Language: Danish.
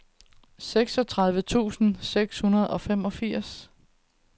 seksogtredive tusind seks hundrede og femogfirs